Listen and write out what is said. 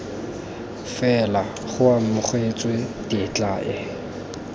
fela go amogetswe tetla e